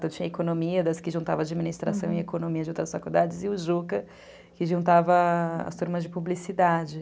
Então, tinha a economia, das que juntava administração e economia de outras faculdades, e o Juca, que juntava as turmas de publicidade.